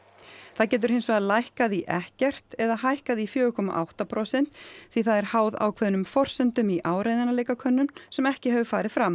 það getur hins vegar lækkað í ekkert eða hækkað í fjóra komma átta prósent því það er háð ákveðnum forsendum í áreiðanleikakönnun sem ekki hefur farið fram